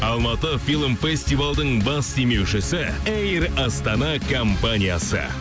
алматы фильм фестивалдың бас демеушісі эйр астана компаниясы